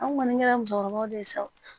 An kɔni kɛra musokɔrɔbaw de ye sa o